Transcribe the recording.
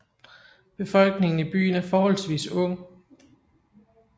Befolkningen i byen er forholdsvis ung